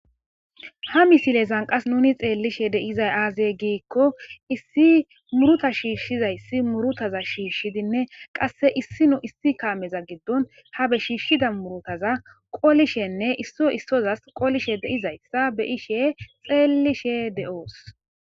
ha misilezan qas nuni xeellishe deizay aazey giikko issi muruta shiishshizayssi murutaza shiishshidinne qasse issinu issi kaameza giddon ha be shiishshida murutaza qolishenne isso issozas qolishe deizayssa beyishe xeellishe de7oos